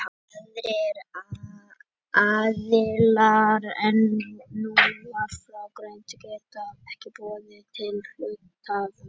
Aðrir aðilar en nú var frá greint geta ekki boðað til hluthafafundar.